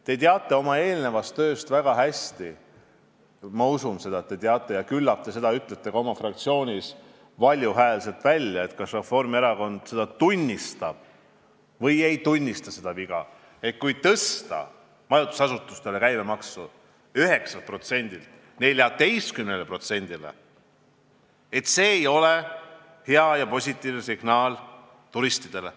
Te teate oma eelneva töö tõttu väga hästi – ma usun, et te seda teate – ja küllap te ütlete ka oma fraktsioonis valju häälega välja , et kui tõsta majutusasutuste käibemaks 9%-lt 14%-le, siis see ei ole hea, positiivne signaal turistidele.